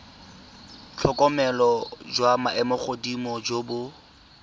tlhokomelo jwa maemogodimo jo bo